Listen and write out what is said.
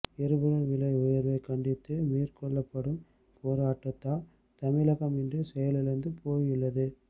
எரிபொருள் விலை உயர்வைக் கண்டித்து மேற்கொள்ளப்படும் போராட்டத்தால் தமிழகம் இன்று செயலிழந்து போயுள்ளது